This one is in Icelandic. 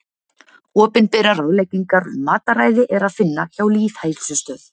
opinberar ráðleggingar um mataræði er að finna hjá lýðheilsustöð